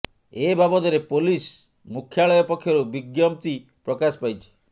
ଏ ବାବଦରେ ପୋଲିସ ମୁଖ୍ୟାଳୟ ପକ୍ଷରୁ ବିଜ୍ଞପ୍ତି ପ୍ରକାଶ ପାଇଛି